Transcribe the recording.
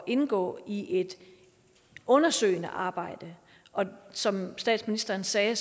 indgå i et undersøgende arbejde og som statsministeren sagde